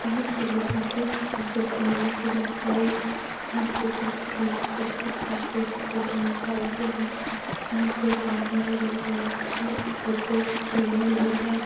यहाँ पे लोगों की काफी भीड़ लगी रहती हैं। यहाँ पे बहोत ही अच्छी तरह से फोटो निकालते है। यहाँ पे एक आदमी और एक औरत की फोटो लगी हुई है।